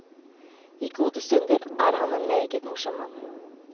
I gode stunder er han en meget morsom mann.